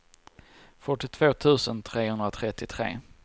fyrtiotvå tusen trehundratrettiotre